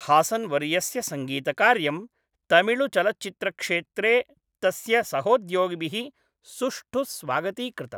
हासन्वर्यस्य सङ्गीतकार्यं तमिळुचलच्चित्रक्षेत्रे तस्य सहोद्योगिभिः सुष्ठु स्वागतीकृतम्।